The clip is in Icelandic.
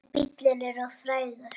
En bíllinn er of frægur.